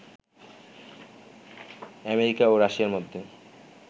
America ও রাশিয়ার মধ্যে